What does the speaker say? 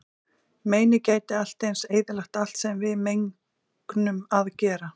Meinið gæti allt eins eyðilagt allt sem við megnum að gera.